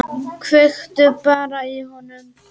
Kveiktu bara í honum.